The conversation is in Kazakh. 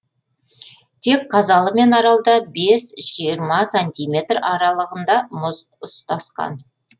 тек қазалы мен аралда бес жиырма сантиметр аралығында мұз ұстасқан